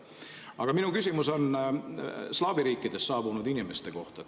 Aga minu küsimus on slaavi riikidest saabunud inimeste kohta.